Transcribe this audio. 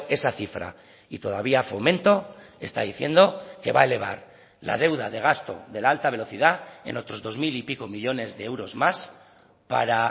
esa cifra y todavía fomento está diciendo que va a elevar la deuda de gasto de la alta velocidad en otros dos mil y pico millónes de euros más para